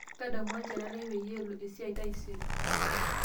ntadamu olchore lai peyie elo esiai taisere